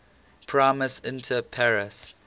primus inter pares